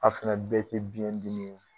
A fɛnɛ bɛɛ te biyɛn dimi ye